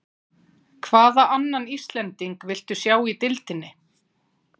Hvaða annan Íslending viltu sjá í deildinni?